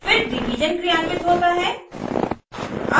फिर डिवीज़न क्रियान्वित होता है